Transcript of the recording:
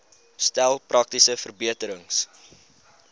stel praktiese verbeterings